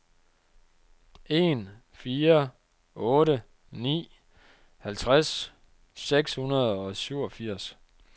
en fire otte ni halvtreds seks hundrede og syvogfirs